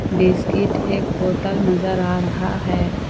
Biscuit एक बोतल नजर आ रहा है।